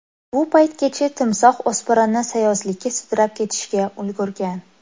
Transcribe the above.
Bu paytgacha timsoh o‘spirinni sayozlikka sudrab ketishga ulgurgan.